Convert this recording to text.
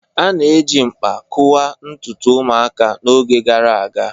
A na-eji mkpa kụwaa ntutu ụmụaka n'oge gara aga